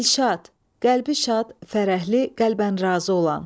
Dilşad, qəlbi şad, fərəhli, qəlbən razı olan.